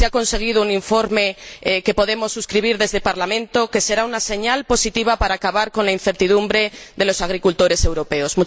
Se ha conseguido un informe que podemos suscribir desde el Parlamento y que será una señal positiva para acabar con la incertidumbre de los agricultores europeos.